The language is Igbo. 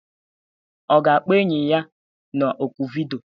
Ọ ga-akpọ enyi ya na oku vidiyo?